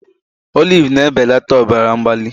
Olive na-ebelata ọbara mgbali